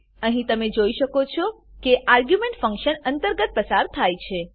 અહીં તમે જોઈ શકો છો કે આર્ગ્યુંમેંટો ફંક્શન અંતર્ગત પસાર કરી છે